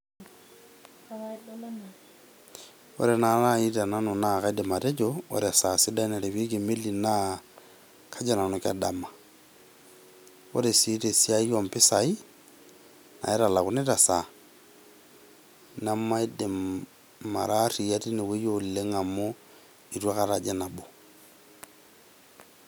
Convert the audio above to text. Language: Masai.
Ore nai tenanu naa kaidim atejo ore esaa sidai narewieki emeli naa kajo nanu kedama . Ore sii tesiai ompisai naitalakuni tesaa nemaidim , mara aria tine wueji amu itu aikata ajing nabo.